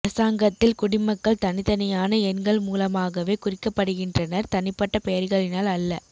அரசாங்கத்தில் குடிமக்கள் தனித்தனியான எண்கள் மூலமாகவே குறிக்கப்படுகின்றனர் தனிப்பட்ட பெயர்களினால் அல்ல